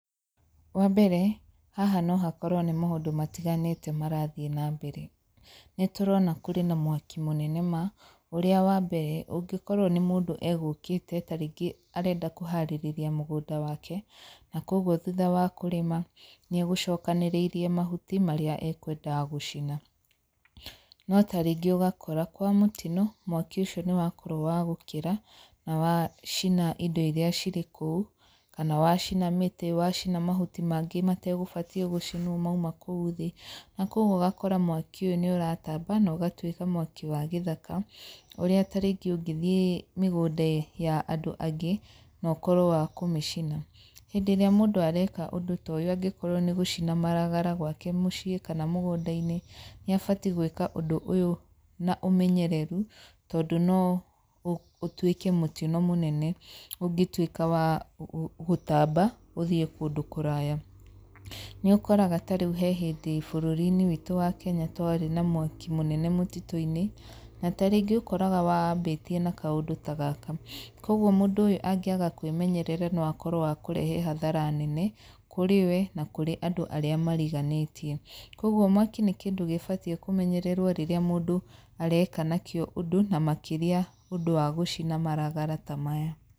Wambere, haha no hakorwo nĩ maũndũ matiganĩte marathiĩ nambere, nĩ tũrona kũrĩ na mwaki mũnene ma, ũrĩa wambere ũngĩkorwo nĩ mũndũ egũkĩte ta rĩngĩ arenda kũharĩrĩria mũgũnda wake, na koguo thutha wa kũrĩma, nĩ egũcokanĩrĩirie mahuti marĩa ekwendaga gũcina, no ta rĩngĩ ũgakora kwa mũtino, mwaki ũcio nĩ wakorwo wa gũkĩra, na wa cina indo iria cirĩ kũu, kana wacina mĩtĩ, wacina mahuti mangĩ mategũbatie gũcinwo mauma kũu thĩ, na koguo ũgakora mwaki ũyũ nĩ ũratamba na ũgatwĩka mwaki wa gĩthaka, ũrĩa ta rĩngĩ ũngĩthiĩ mĩgũnda ya andũ angĩ, na ũkorwo wa kũmĩcina. Hĩndĩ ĩrĩa mũndũ areka ũndũ ta ũyũ angĩkorwo nĩ gũcina maragara gwake mũciĩ kana mũgũnda-inĩ, nĩ abatie gwĩka ũndũ ũyũ na ũmenyereru tondũ no ũtuĩke mũtino mũnene ũngĩtuĩka wa gũtamba uthiĩ kũndũ kũraya. Nĩũkoraga ta rĩu he hĩndĩ bũrũri-inĩ witũ wa Kenya twarĩ na mwaki mũnene mũtitũ-inĩ, na ta rĩngĩ ũkoraga wambĩtie na kaũndũ ta gaka, koguo mũndũ ũyũ angĩaga kwĩmenyerera no akorwo wa kũrehe hathara nene, kũrĩ we na kũrĩ andũ arĩa mariganĩtie, koguo mwaki nĩ kĩndũ gĩbatie kũmenyererwo rĩrĩa mũndũ areka nakĩo ũndũ na makĩria ũndũ wa gũcina maragara ta maya.